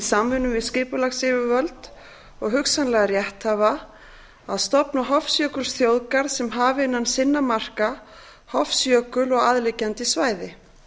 samvinnu við skipulagsyfirvöld og hugsanlega rétthafa að stofna hofsjökulsþjóðgarð sem hafi innan sinna marka hofsjökul og aðliggjandi svæði